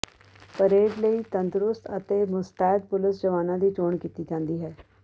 parade ਲਈ ਤੰਦਰੁਸਤ ਅਤੇ ਮੁਸਤੈਦ ਪੁਲਸ ਜਵਾਨਾਂ ਦੀ ਚੋਣ ਕੀਤੀ ਜਾਂਦੀ ਹੈ